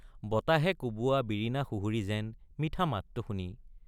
বতাহে কোৱোৱা বিৰিণা সুহুৰি যেন মিঠা মাতটো শুনি।